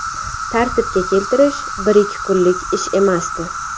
Tartibga keltirish bir-ikki kunlik ish emasdi.